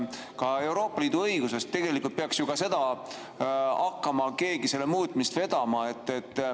Ka Euroopa Liidu õiguse muutmist peaks ju hakkama keegi vedama.